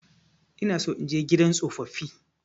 Ina so in je gidan tsofaffi.